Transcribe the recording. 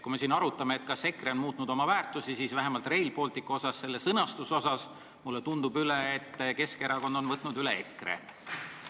Kui me siin arutame, kas EKRE on muutnud oma väärtusi, siis vähemalt Rail Balticut puudutava osas mulle tundub, et Keskerakond on võtnud üle EKRE seisukoha.